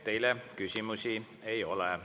Teile küsimusi ei ole.